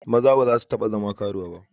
Maza ba su taba zama karuwa ba.